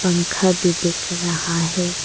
पंखा भी देख रहा है।